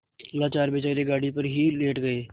लाचार बेचारे गाड़ी पर ही लेट गये